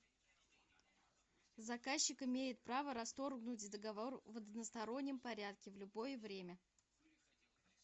заказчик имеет право расторгнуть договор в одностороннем порядке в любое время